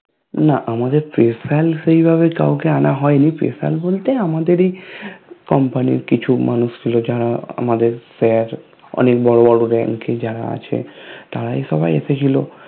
না আমাদের Special সেইভাবে কাউকে আনা হয়নি Special বলতে আমাদেরই Company র কিছু মানুষ ছিল যারা আমাদের Fair অনেক বড় বড় Rank এ যারা আছে তারাই সবাই এসেছিলো